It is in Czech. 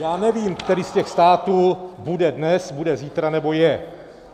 Já nevím, který z těch států bude dnes, bude zítra nebo je.